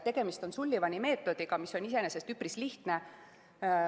Tegemist on Sullivani meetodiga, mis on iseenesest üpris lihtne.